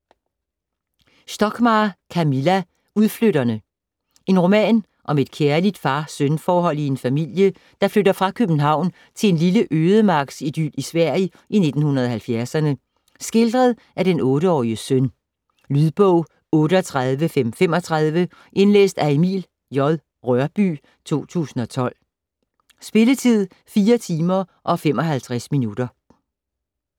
Stockmarr, Camilla: Udflytterne En roman om et kærligt far-søn forhold i en familie, der flytter fra København til en lille ødemarksidyl i Sverige i 1970'erne, skildret af den 8-årige søn. Lydbog 38535 Indlæst af Emil J. Rørbye, 2012. Spilletid: 4 timer, 55 minutter.